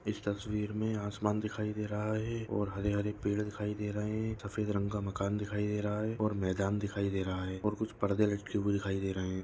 इस तस्वीर मे आसमान दिखाई दे रहा है और हरे-हरे पेड़ दिखाई दे रहे है सफ़ेद रंग का मकान दिखाई दे रहा है और मैदान दिखाई दे रहा है और कुछ पर्दे लटके हुए दिखाई दे रहे है।